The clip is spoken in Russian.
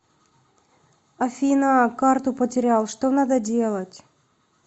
афина карту потерял что надо делать